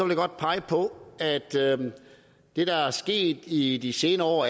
jeg godt pege på at det der er sket i de senere år